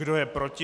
Kdo je proti?